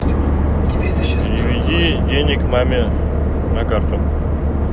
переведи денег маме на карту